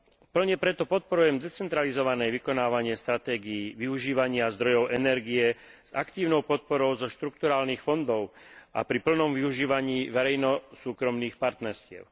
Plne preto podporujem decentralizované vykonávanie stratégií využívania zdrojov energie s aktívnou podporou zo štrukturálnych fondov a pri plnom využívaní verejno súkromných partnerstiev.